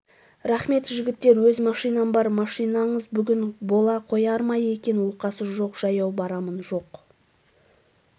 рахмет жігіттер өз машинам бар машинаңыз бүгін бола қояр ма екен оқасы жоқ жаяу барамын жоқ